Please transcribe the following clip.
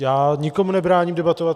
Já nikomu nebráním debatovat.